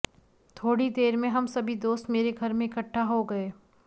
थोड़ी ही देर में हम सभी दोस्त मेरे घर में इकट्ठे हो गये